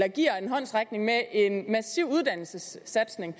og giver en håndsrækning med en massiv uddannelsessatsning